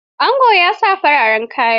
Angon ya sa fararen kaya.